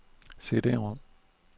CD-rom